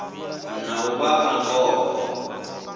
na u vha a ngoho